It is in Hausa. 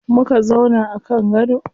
Muka zauna a kan gado.